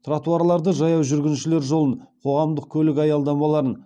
тротуарларды жаяу жүргіншілер жолын қоғамдық көлік аялдамаларын